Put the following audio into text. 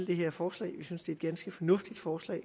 det her forslag vi synes det er et ganske fornuftigt forslag